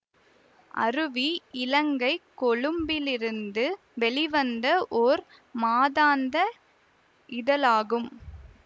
அருவி இலங்கை கொழும்பிலிருந்து வெளிவந்த ஓர் மாதாந்த இதழாகும்